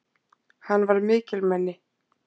Hann var mikilmenni!